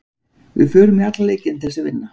Við förum í alla leiki til þess að vinna.